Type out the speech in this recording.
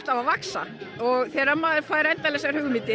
að vaxa þegar maður fær endalausar hugmyndir